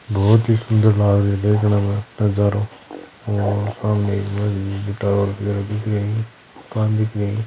बहुत ही सुंदर देखने मे नजारा और हमे और सामने टावर खड़ा दिखरा ही मकान दिखरा है।